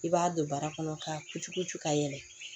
I b'a don bara kɔnɔ ka kucukuku ka yɛlɛ